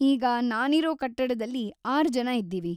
ಈಗ ನಾನಿರೋ ಕಟ್ಟಡದಲ್ಲಿ ಆರು ಜನ ಇದ್ದೀವಿ.